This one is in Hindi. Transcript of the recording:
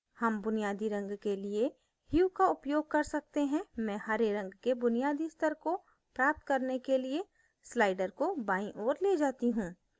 hue बुनियादी रंग के लिए hue का उपयोग कर सकते हैं मैं hue रंग के बुनियादी स्तर को प्राप्त करने के लिए slider को बाईं ओर we जाती hue